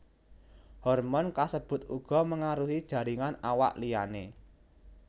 Hormon kasebut uga mengaruhi jaringan awak liyané